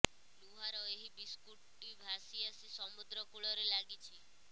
ଲୁହାର ଏହି ବସ୍ତୁଟି ଭାସି ଆସି ସମୁଦ୍ର କୂଳରେ ଲାଗିଛି